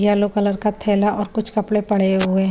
Yellow colour का ठेला और कुछ कपडे पड़े हुए है ।